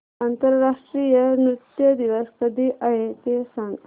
आंतरराष्ट्रीय नृत्य दिवस कधी आहे ते सांग